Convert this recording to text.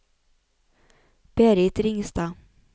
Berit Ringstad